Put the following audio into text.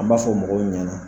An m'a fɔ mɔgɔw ɲana